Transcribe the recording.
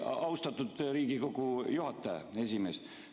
Austatud Riigikogu esimees!